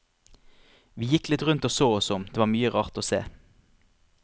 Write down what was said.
Vi gikk litt rundt og så oss om, det var mye rart å se.